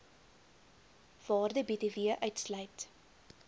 waarde btw uitsluit